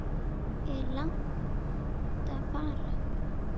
Er langt að fara?